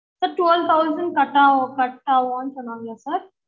sir twelve thousand கட்டாவும் கட்டாவும் சொன்னாங்களா sir